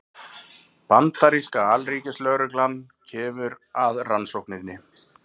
Bandaríska alríkislögreglan kemur að rannsókninni